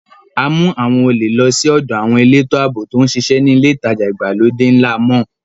A mú àwọn olè lọ sí ọ̀dọ àwọn elétò ààbò tó ń ṣiṣẹ́ ní ilé ìtajà ìgbàlódé ńlá máa.